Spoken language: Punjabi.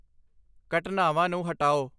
ਘਟਨਾਵਾਂ ਨੂੰ ਹਟਾਓ